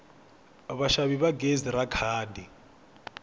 vaxavi va gezi ra khadi